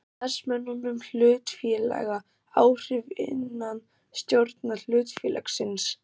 starfsmönnum hlutafélaga áhrif innan stjórnar hlutafélagsins.